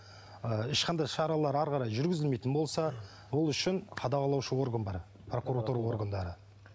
ы ешқандай шаралар әрі қарай жүргізілмейтін болса ол үшін қадағалаушы орган бар прокуратура органдары